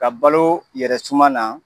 Ka balo yɛrɛ suma na